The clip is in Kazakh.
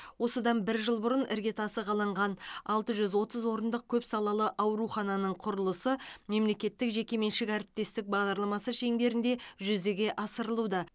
осыдан бір жыл бұрын іргетасы қаланған алты жүз отыз орындық көпсалалы аурухананың құрылысы мемлекеттік жекеменшік әріптестік бағдарламасы шеңберінде жүзеге асырылуда